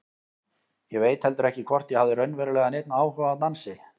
Ég veit heldur ekki hvort ég hafði raunverulega neinn áhuga á dansi.